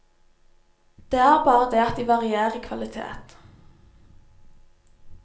Det er bare det at de varier i kvalitet.